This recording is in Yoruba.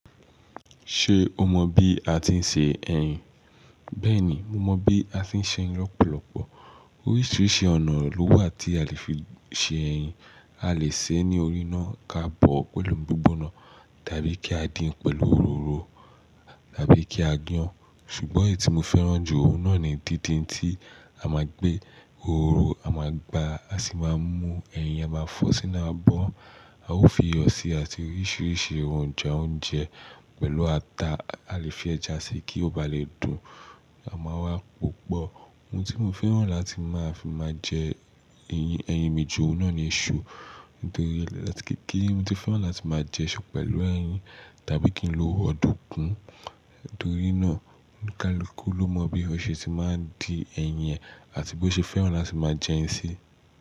Ṣe o mọ bi a ti n ṣe ẹyin? Bẹ́ẹ̀ni, mo mọ bi a ti n ṣe ẹyin lọpọlọpọ. Oríṣiríṣi ọ̀nà ló wà tí a lè fi ṣe ẹyin. A lè sè é ní orí iná ká bọ̀ ọ́ pẹ̀lú gbígbóná, tàbí kí a dín pẹ̀lú òróró tàbí kí a yàn. Ṣùgbọ́n èyí tí mo fẹ́ràn jù òun náà ni díndín tí a máa gbé òróró, a máa gbá, a sì máa mú ẹyin, a máa fọ́ sí i, a máa bọ́. A ó fi iyọ̀sí àti oríṣiríṣi erojá oúnjẹ pẹ̀lú ata. A lè fi ẹja sí i kí ó ba lè dùn. A máa wá pòpọ̀. Oun ti mo fẹ́ràn láti ma je eyin mi ju oun na ni isu, torí láti kékeré ni mo ti fẹ́ràn láti ma je isu tàbí odunkun. Nítorí náà, kaluku ló mọ bí ọṣẹ tí máa ń dí ẹyin e àti bó ṣe fẹ́ràn láti máa jẹ ẹ́ si.